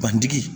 Bantigi